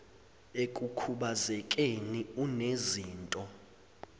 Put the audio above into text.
ekukhubaze keni unezinto